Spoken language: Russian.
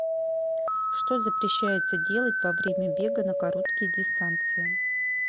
что запрещается делать во время бега на короткие дистанции